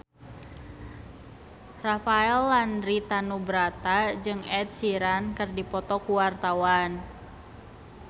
Rafael Landry Tanubrata jeung Ed Sheeran keur dipoto ku wartawan